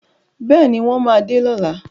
Bẹ́ẹ̀ni, wọ́n máa dé lọ́la.